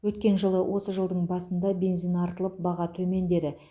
өткен жылы осы жылдың басында бензин артылып баға төмендеді